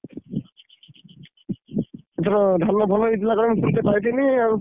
ଏଇଥର ଧାନ ଭଲ ହେଇଥିଲା କୁଆଡେ ମୁଁଁ ସୁଣତେ ପାଇଥିଲି ଆଉ।